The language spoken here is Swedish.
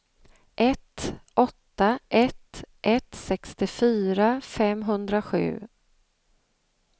ett åtta ett ett sextiofyra femhundrasju